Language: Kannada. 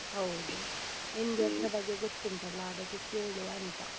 ಹೌದು. ನಿಮ್ಗೆ ಅದ್ರ ಬಗ್ಗೆ ಗೊತ್ತುಂಟಲ್ಲ ಅದಕ್ಕೆ ಕೇಳುವಾಂತ.